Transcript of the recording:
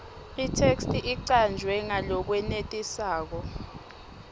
itheksthi icanjwe ngalokwenetisako